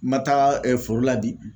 Ma taga foro la bi